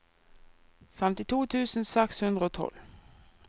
femtito tusen seks hundre og tolv